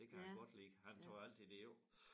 Det kan han godt lide han tager jo altid det jo ikke